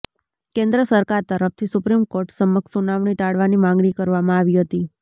કેન્દ્ર સરકાર તરફથી સુપ્રીમ કોર્ટ સમક્ષ સુનાવણી ટાળવાની માગણી કરવામાં આવી હતી